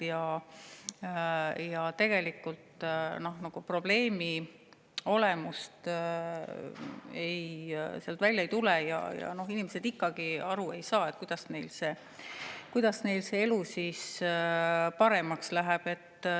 Probleemi tegelikku olemust sealt välja ei tule ja inimesed ikkagi ei saa aru, kuidas neil elu siis paremaks läheb.